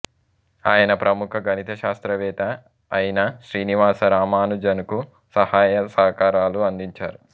ఆయన ప్రముఖ గణిత శాస్త్రవేత్త అయిన శ్రీనివాస రామానుజన్కు సహాయ సహకారాలు అందించారు